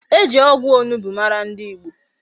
E ji ogwu onugbu mara ndi Igbo